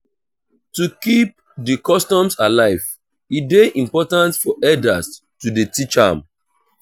to keep di custom alive e de important for elders to de teach am